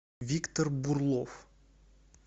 виктор бурлов